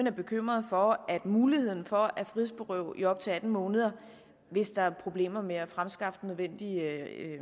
er bekymrede for at muligheden for at frihedsberøve folk i op til atten måneder hvis der er problemer med at fremskaffe den nødvendige